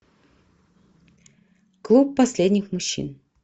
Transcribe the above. клуб последних мужчин